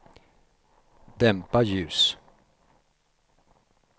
dämpa ljus